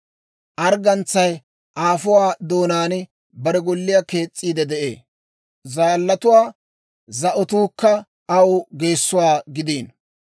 Arggantsay aafuwaa doonaan bare golliyaa kees's'iide de'ee; zaallatuwaa za'otuukka aw geessuwaa gideeddino.